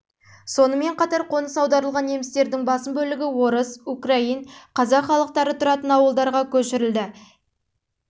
сонымен қатар қоныс аударылған немістердің басым бөлігі орыс украин қазақ халықтары тұратын ауылдарға көшірілді ең басты мәселелердің